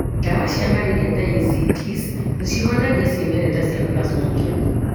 Ndawa cia malaria ta ACTs nĩcihonagia cĩimerera cia Plasmodium.